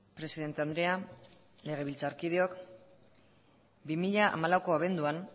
presidente andrea legebiltzarkideok bi mila hamalaueko abenduan